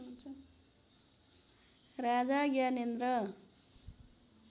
Raja Gyanendra